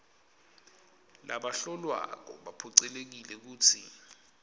labahlolwako baphocelelekile kutsi